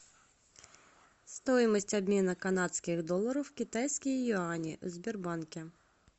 стоимость обмена канадских долларов в китайские юани в сбербанке